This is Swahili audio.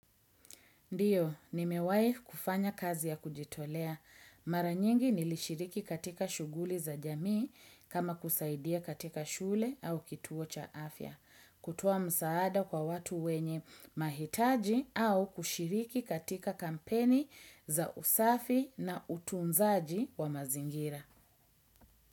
Ndiyo, nimewai kufanya kazi ya kujitolea. Maranyingi nilishiriki katika shuguli za jamii kama kusaidia katika shule au kituo cha afya. Kutowa msaada kwa watu wenye mahitaji au kushiriki katika kampeni za usafi na utunzaji wa mazingira.